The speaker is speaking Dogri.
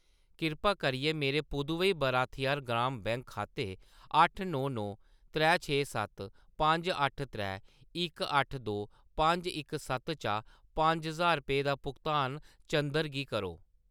किरपा करियै मेरे पुदुवई भारथिआर ग्राम बैंक खाते अट्ठ नौ नौ त्रै छे सत्त पंज अट्ट त्रै इक अट्ठ दो पंज इक सत्त चा पंज ज्हार रपेऽ दा भुगतान चंदर गी करो।